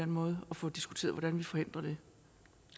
måde og få diskuteret hvordan vi forhindrer det